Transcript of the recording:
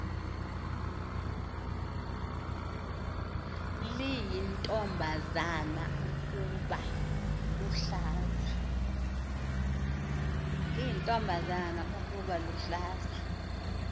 liyintombazana ukuba luhlaza